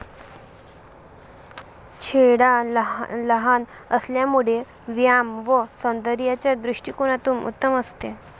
छेडा लहान असल्यामुळे व्यायाम व सौन्दर्याच्या दृष्टिकोनातून उत्तम असते.